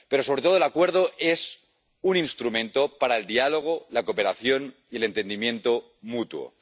Pero, sobre todo, el Acuerdo es un instrumento para el diálogo, la cooperación y el entendimiento mutuo